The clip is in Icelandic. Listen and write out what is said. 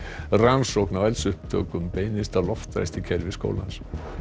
rannsókn á eldsupptökum beinist að loftræstikerfi skólans